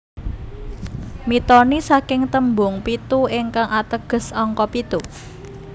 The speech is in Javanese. Mitoni saking tembung pitu ingkang ateges angka pitu